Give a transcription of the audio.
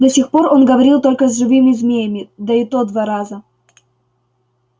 до сих пор он говорил только с живыми змеями да и то два раза